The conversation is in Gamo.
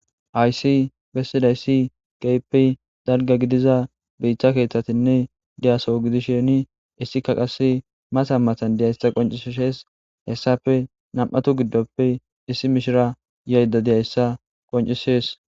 Hayssi bessidayssi keehippe dalga gidida biita keethatinne de'a soo gidishini izetika qasse matan matan de'iyaysa qonccisees. Hessappe nam'atu giddoooe issi mishira yashe de'iyaysa qoncisees.